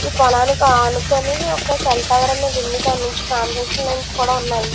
ఈ పొలానికి అనుకొని ఒక టవర్ అనేది ఉంది. దాని నుంచి ట్రాన్స్మిషన్ కూడా ఉన్నాయి.